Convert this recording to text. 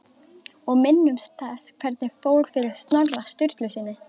Og minnumst þess hvernig fór fyrir Snorra Sturlusyni!